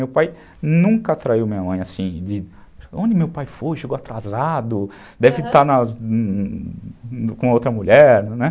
Meu pai nunca traiu minha mãe assim, de onde meu pai foi, chegou atrasado, aham, deve estar com outra mulher, né?